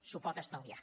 s’ho pot estalviar